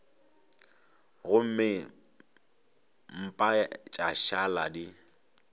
gomme mpa tša šala di